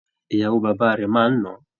Ìyàwó bàbá rẹ́ máa ń nà án.